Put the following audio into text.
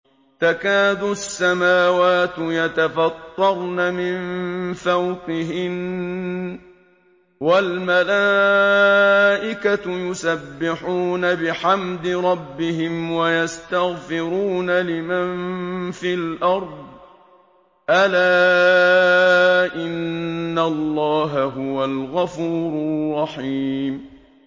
تَكَادُ السَّمَاوَاتُ يَتَفَطَّرْنَ مِن فَوْقِهِنَّ ۚ وَالْمَلَائِكَةُ يُسَبِّحُونَ بِحَمْدِ رَبِّهِمْ وَيَسْتَغْفِرُونَ لِمَن فِي الْأَرْضِ ۗ أَلَا إِنَّ اللَّهَ هُوَ الْغَفُورُ الرَّحِيمُ